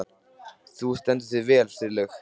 Þú stendur þig vel, Friðlaug!